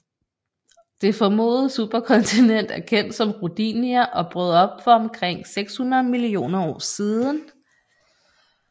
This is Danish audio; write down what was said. Det formodede superkontinent er kendt som Rodinia og brød op for omkring 600 millioner år siden